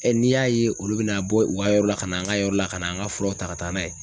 n'i y'a ye olu bɛna bɔ u ka yɔrɔ la ka na an ka yɔrɔ la ka na an ka furaw ta ka taa n'a ye